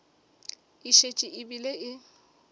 e šetše e bile e